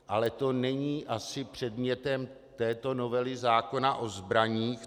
Ale to není asi předmětem této novely zákona o zbraních.